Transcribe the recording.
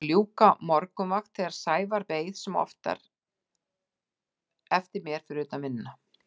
Ég var að ljúka morgunvakt þegar Sævar beið sem oftar eftir mér fyrir utan vinnuna.